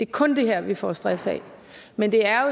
kun det her vi får stress af men det er